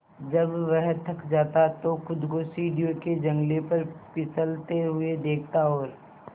जब वह थक जाता तो खुद को सीढ़ियों के जंगले पर फिसलते हुए देखता और